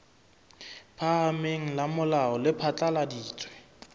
phahameng la molao le phatlaladitse